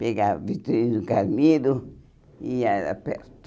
Pegava vitrine de carneiro e ia, era perto.